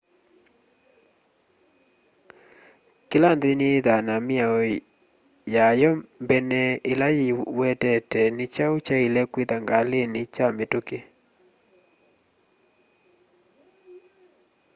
kĩla nthĩ nĩyĩthaa na mĩao yayo mbene ĩla yĩwetete nĩkyaũ kyaĩle kwĩtha ngalĩnĩ kya mĩtũkĩ